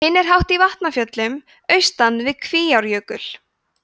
hinn er hátt í vatnafjöllum austan við kvíárjökul